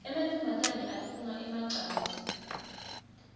emantfombane atfunga emacansi